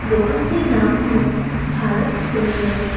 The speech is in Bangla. দোকানটির নাম হল ভারত সেলুলার ।